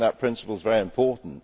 That principle is very important.